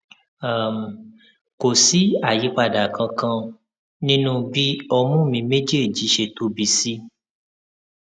um kò sí àyípadà kankan nínú bí ọmú mi méjèèjì ṣe tóbi sí